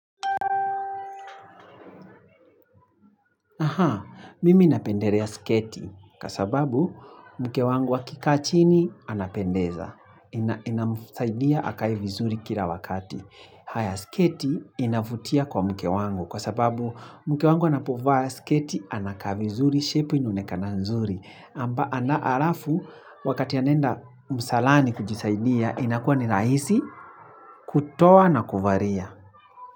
Aha, mimi inapendelea sketi, kwa sababu mke wangu akikaa chini anapendeza, inamsaidia akae vizuri kila wakati. Haya sketi inavutia kwa mke wangu, kwa sababu mke wangu anapovaa sketi anakaa vizuri, shepu inaonekana nzuri, alafu wakati anaenda msalani kujisaidia, inakuwa ni rahisi kutoa na kuvalia.